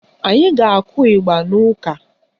Anyi ga-akụ ịgba n'ụka